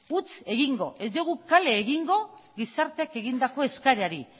huts egingo ez diogu kale egingo gizarteak egindako eskaerari